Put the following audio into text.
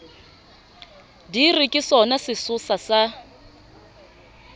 di re ke sonasesosa sa